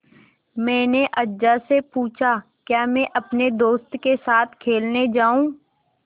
मैंने अज्जा से पूछा क्या मैं अपने दोस्तों के साथ खेलने जाऊँ